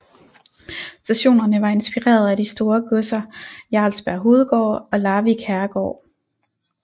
Stationerne var inspireret af de store godser Jarlsberg hovedgård og Larvik herregård